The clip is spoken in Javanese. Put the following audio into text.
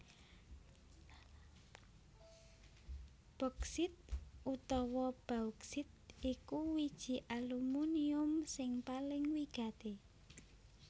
Boksit utawa bauksit iku wiji alumunium sing paling wigati